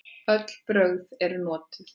Öll brögð eru notuð.